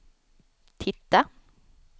titta